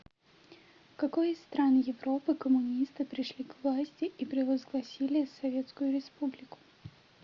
в какой из стран европы коммунисты пришли к власти и провозгласили советскую республику